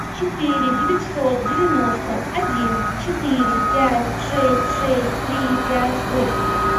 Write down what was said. четыре девятьсот девяносто один четыре пять шесть шесть три пять восемь